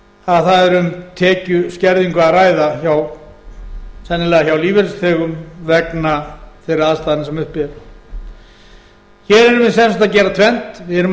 það er um tekjuskerðingu að ræða hjá sennilega lífeyrisþegum vegna þeirra aðstæðna sem uppi eru hér erum við sem sagt að gera tvennt við erum að